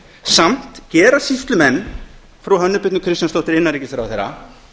samt gera sýslumenn frú hönnu birnu kristjánsdóttur innanríkisráðherra